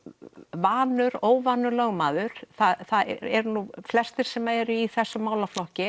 vanur óvanur lögmaður það eru nú flestir sem eru í þessum málaflokki